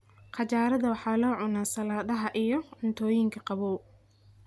Qajaarada waxaa la cunaa saladhaha iyo cuntooyinka qabow.